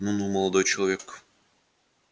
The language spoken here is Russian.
ну-ну молодой человек